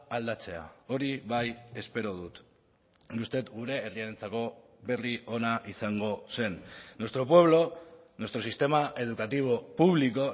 aldatzea hori bai espero dut uste dut gure herriarentzako berri ona izango zen nuestro pueblo nuestro sistema educativo público